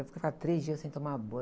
Eu ficava três dias sem tomar banho.